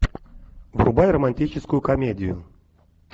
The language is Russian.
врубай романтическую комедию